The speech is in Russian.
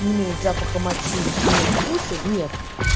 не имеет запаха мочи и нет вкуса нет